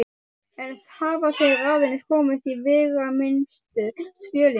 Enn hafa þeir aðeins komist í veigaminnstu skjölin.